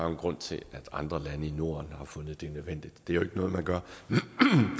en grund til at andre lande i norden har fundet det nødvendigt det er jo ikke noget man gør